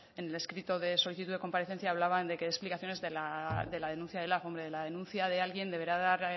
en el escrito de solicitud de comparecencia hablaban de que dé explicaciones de la denuncia de lab hombre de la denuncia de alguien deberá dar